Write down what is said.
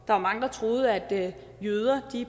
var mange der troede at jøder